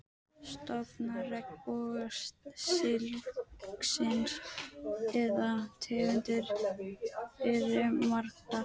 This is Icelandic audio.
Stofnar regnbogasilungsins eða tegundir eru margar.